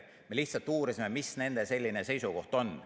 Me lihtsalt uurisime, mis nende selline seisukoht on.